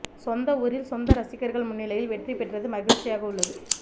சொந்த ஊரில் சொந்த ரசிகர்கள் முன்னிலையில் வெற்றி பெற்றது மகிழ்ச்சியாக உள்ளது